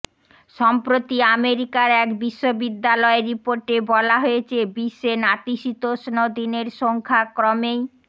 সম্প্রতি আমেরিকার এক বিশ্ববিদ্যালয়ের রিপোর্টে বলা হয়েছে বিশ্বে নাতিশীতোষ্ণ দিনের সংখ্যা ক্রমেই